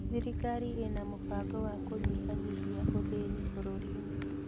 Thirikari ĩna mũbango wa kũnyihanyihia ũthĩni bũrũri-inĩ